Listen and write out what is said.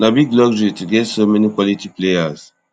na big luxury to get so many quality players